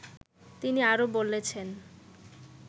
তিনি আরও বলেছেন